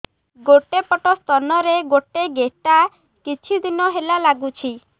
ଗୋଟେ ପଟ ସ୍ତନ ରେ ଗୋଟେ ଗେଟା କିଛି ଦିନ ହେଲା ଲାଗୁଛି